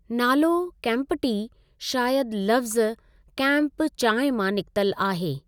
नालो कैंपटी शायदि लफ़्ज़ु 'कैंप चांहि' मां निकितल आहे।